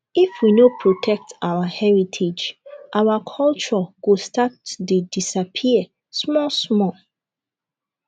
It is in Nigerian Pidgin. if we no protect our heritage our culture go start to dey disappear small small